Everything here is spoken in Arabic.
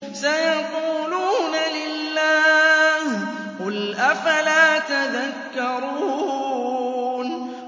سَيَقُولُونَ لِلَّهِ ۚ قُلْ أَفَلَا تَذَكَّرُونَ